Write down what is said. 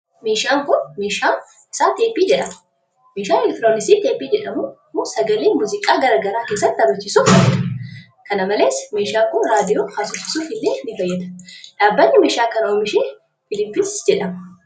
Meeshaan kun maqaan isaa teeppii jedhama. Meeshaan elektirooniksii teeppii jedhamu kun, sagalee muuziqaa garaa garaa keessatti taphachiisuf fayyada. Kana malees, meeshaan kun reediyoo haasofsiisuuf illee ni fayyada. Dhaabbanni meeshaa kana oomishe filiips jedhama.